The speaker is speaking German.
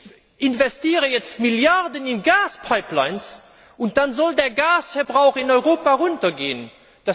Ich investiere jetzt Milliarden in Gaspipelines und dann soll der Gasverbrauch in Europa sinken.